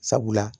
Sabula